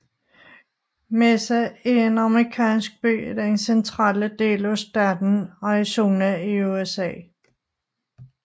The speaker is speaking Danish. Mesa er en amerikansk by i den centrale del af staten Arizona i USA